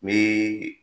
Ni